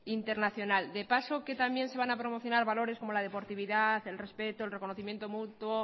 internacional de paso que también se van a promocionar valores como la deportividad el respeto el reconcomiendo mutuo